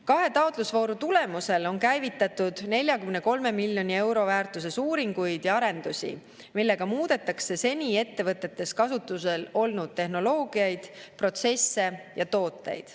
Kahe taotlusvooru tulemusel on käivitatud 43 miljoni euro väärtuses uuringuid ja arendusi, millega muudetakse seni ettevõtetes kasutusel olnud tehnoloogiaid, protsesse ja tooteid.